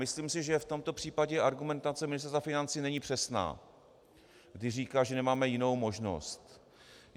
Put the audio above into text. Myslím si, že v tomto případě argumentace Ministerstva financí není přesná, když říká, že nemáme jinou možnost.